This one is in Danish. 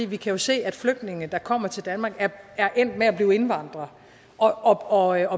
vi kan jo se at flygtninge der kommer til danmark er endt med at blive indvandrere og er